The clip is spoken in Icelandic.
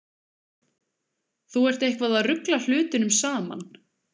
Þú ert eitthvað að rugla hlutunum saman.